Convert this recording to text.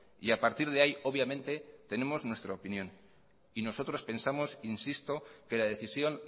y a partir de ahí obviamente tenemos nuestra opinión y nosotros pensamos insisto que la decisión